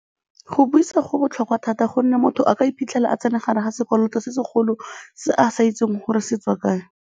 Go buisa go botlhokwa thata gonne motho a ka iphitlhela a tsene gare ga sekoloto se se golo se a sa itseng gore se tswa kae.